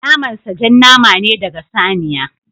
Naman sa jan nama ne ɗaga saniya.